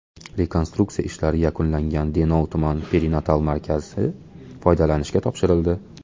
Rekonstruksiya ishlari yakunlangan Denov tuman perinatal markazi foydalanishga topshirildi.